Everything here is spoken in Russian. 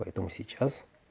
поэтому сейчас